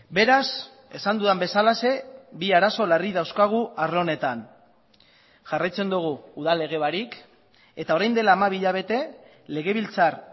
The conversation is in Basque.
beraz esan dudan bezalaxe bi arazo larri dauzkagu arlo honetan jarraitzen dugu udal lege barik eta orain dela hamabi hilabete legebiltzar